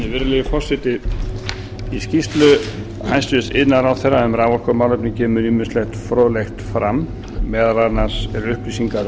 virðulegi forseti í skýrslu hæstvirts iðnaðarráðherra um raforkumálefni kemur ýmislegt fróðlegt fram meðal annars eru upplýsingar